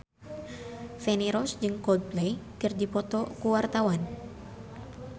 Feni Rose jeung Coldplay keur dipoto ku wartawan